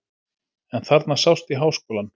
En þarna sást í Háskólann.